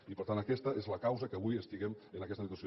i per tant aquesta és la causa que avui estiguem en aquesta situació